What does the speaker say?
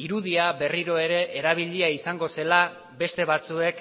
irudia berriro ere erabilia izango zela beste batzuek